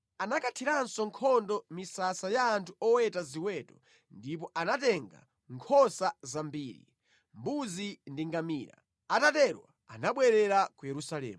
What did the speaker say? Anakathiranso nkhondo misasa ya anthu oweta ziweto ndipo anatenga nkhosa zambiri, mbuzi ndi ngamira. Atatero anabwerera ku Yerusalemu.